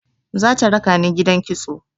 Za ta raka ni gidan kitso.